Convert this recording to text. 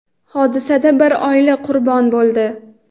Hodisada bir oila qurbon bo‘ldi.